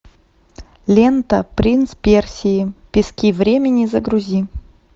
лента принц персии пески времени загрузи